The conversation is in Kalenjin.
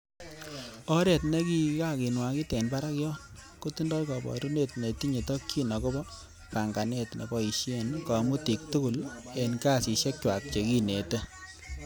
Oret nekwakinwakit en barak yon, kotindoi koborunet netinye tokyin agobo pang'anet neboishien komutik tugul en kasisiekchwak che kinete.